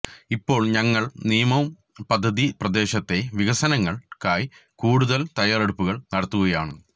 ഇപ്പോൾ ഞങ്ങൾ നിയോം പദ്ധതി പ്രദേശത്തെ വികസനങ്ങൾക്കായി കൂടുതൽ തയ്യാറെടുപ്പുകൾ നടത്തുകയാണ്